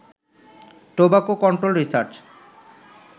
tobacco control research